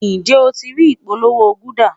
Njẹ o ti rii ipolowo gulder?